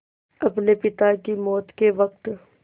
अपने पिता की मौत के वक़्त